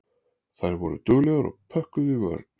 Þær voru duglegar og pökkuðu í vörn.